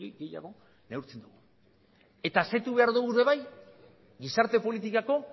gehiago neurtzen ditu eta asetu behar ditugu ere bai gizarte politikako